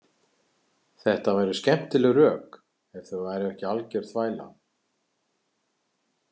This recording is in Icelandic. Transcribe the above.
Þetta væru skemmtileg rök ef þau væru ekki algjör þvæla.